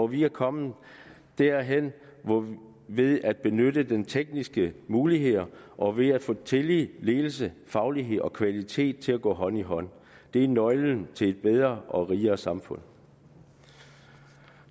vi er kommet derhen ved at benytte de tekniske muligheder og ved at få tillid ledelse faglighed og kvalitet til at gå hånd i hånd det er nøglen til et bedre og rigere samfund